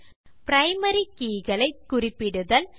primary keys ஐ குறிப்பிடுதல் 6